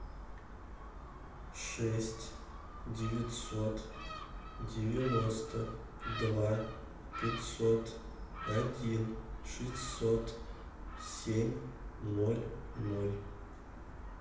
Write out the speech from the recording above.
шесть девятьсот девяносто два пятьсот один шестьсот семь ноль ноль